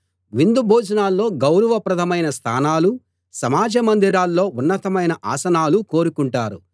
విందు భోజనాల్లో గౌరవప్రదమైన స్థానాలూ సమాజ మందిరాల్లో ఉన్నతమైన ఆసనాలూ కోరుకుంటారు